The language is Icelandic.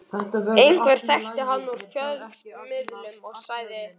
Einhver þekkti hann úr fjölmiðlum og sagði